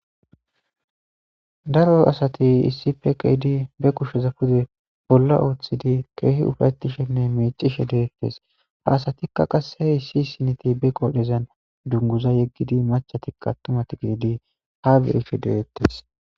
Daro asati issippe ke7idii be kusheza pude bolla ooththidi keehi ufatishenne miicishe deettes. Ha asatikka qasse issi siniti be qodhezan dunguza yeggidi maccatikka atumatara gidi ha be7ishe deeettes.